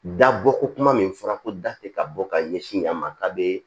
Da bɔ ko kuma min fɔra ko da te ka bɔ ka ɲɛsin yan ma k'a be